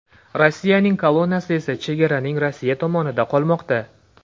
Rossiyaning kolonnasi esa chegaraning Rossiya tomonida qolmoqda.